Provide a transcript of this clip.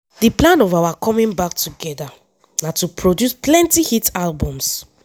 “di plan of our coming back together na to produce plenty hit albums.